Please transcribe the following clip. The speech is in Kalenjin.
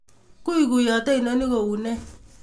Guguyote inoni koune?